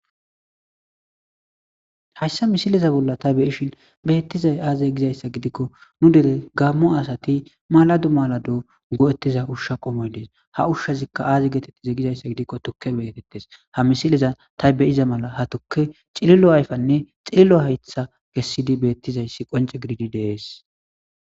Hayssa misiliza bolla ta beyishin beettizay aaze gizayssa gidikko nu dere gammo asati maladu malado go7ettiza ushsha qomoy dees ha ushshazikka aazi geetettiza gizayssa gidikko tukke betettes ha misileza ta beyiza mala ha tuke cilillo ayfanne xillo haytha kessidi beettizayssi qonce gididi dees.